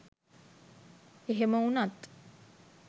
එහෙම වුණත්